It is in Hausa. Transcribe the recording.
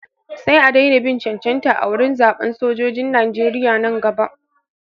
Sai a daina bin cancanta wurin zaɓan sojojin Nijeriya nan gaba.